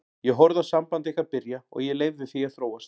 Ég horfði á samband ykkar byrja og ég leyfði því að þróast.